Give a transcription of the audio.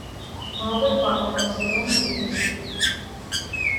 молодой папа сезон три